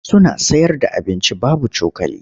Suna sayarda abinci babu cokali.